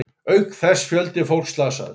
Auk þess fjöldi fólks slasaðist